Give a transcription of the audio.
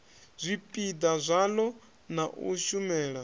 zwipiḓa zwaḽo na u shumela